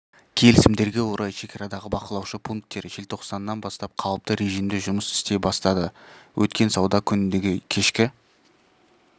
келісімдерге орай шекарадағы бақылаушы пункттер желтоқсаннан бастап қалыпты режимде жұмыс істей бастады өткен сауда күніндегі кешкі